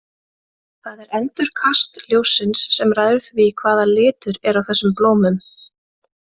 Það er endurkast ljóssins sem ræður því hvaða litur er á þessum blómum.